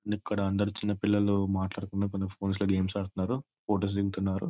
And ఇక్కడ అందరూ చిన్నపిల్లలు మాట్లాడకుండా కొంచెం ఫోన్స్ లో గేమ్స్ ఆడతన్నారు ఫొటోస్ దిగుతున్నారు.